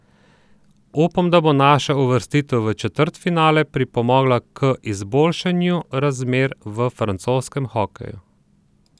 Upam, da bo naša uvrstitev v četrtfinale pripomogla k izboljšanju razmer v francoskem hokeju.